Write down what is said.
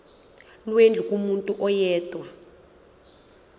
lwendlu kumuntu oyedwa